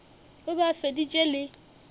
o be a feditše le